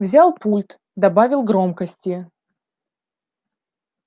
взял пульт добавил громкости